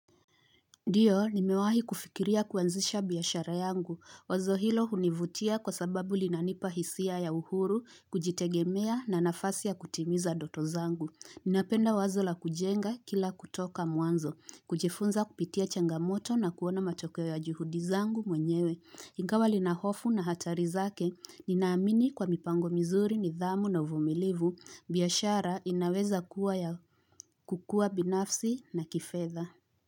Ndiyo, nimewahi kufikiria kuanzisha biyashara yangu. Wazo hilo hunivutia kwa sababu linanipa hisia ya uhuru, kujitegemea na nafasi ya kutimiza doto zangu. Ninapenda wazo la kujenga kila kutoka mwanzo, kujifunza kupitia changamoto na kuona matokewe ya juhudi zangu mwenyewe. Ingawa linahofu na hatari zake, ninaamini kwa mipango mizuri nidhamu na uvumilivu, biyashara inaweza kuwa ya kukua binafsi na kifedha.